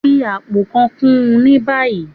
Fi apó kàn kún ní báyìí!